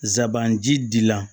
Zaban ji la